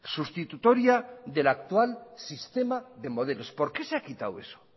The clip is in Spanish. sustitutoria del actual sistema de modelos por qué se ha quitado eso